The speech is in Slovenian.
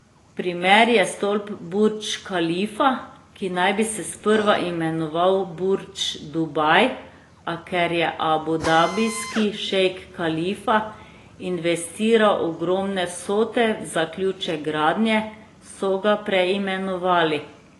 Primer je stolp Burdž Kalifa, ki naj bi se sprva imenoval Burdž Dubaj, a ker je abudabijski šejk Kalifa investiral ogromne vsote v zaključek gradnje, so ga preimenovali.